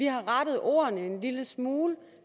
har rettet ordene en lille smule